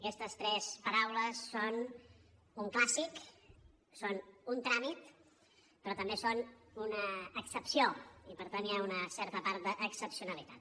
aquestes tres paraules són un clàssic són un tràmit però també són una excepció i per tant hi ha una certa part d’excepcionalitat